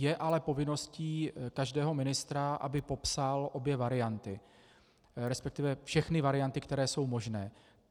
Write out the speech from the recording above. Je ale povinností každého ministra, aby popsal obě varianty, respektive všechny varianty, které jsou možné.